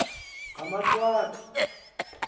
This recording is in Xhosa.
ngamaqwathi